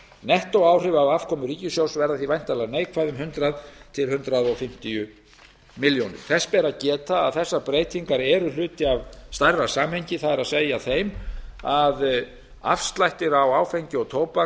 nettóáhrif á afkomu ríkissjóðs verða því væntanlega neikvæð um hundrað til hundrað fimmtíu milljónir króna þess ber að geta að þessar breytingar eru hluti af stærra samhengi það er því að afslættir á áfengi og tóbaki